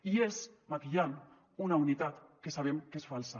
i és maquillant una unitat que sabem que és falsa